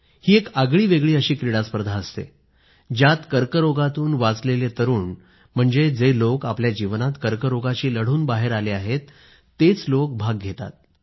ही एक आगळीवेगळी अशी क्रीडास्पर्धा असते ज्यात कर्करोगातून वाचलेल्या तरुण म्हणजे जे लोक आपल्या जीवनात कर्करोगाशी लढून बाहेर आले आहेत तेच लोक भाग घेतात